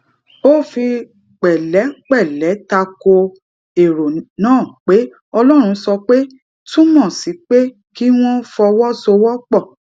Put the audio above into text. ó fi pèlépèlé ta ko èrò náà pé ọlórun sọ pé túmò sí pé kí wón fọwó sowó pò